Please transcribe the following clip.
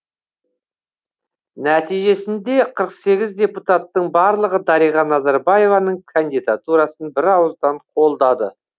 нәтижесінде қырық сегіз депутаттың барлығы дариға назарбаеваның кандидатурасын бірауыздан қолдады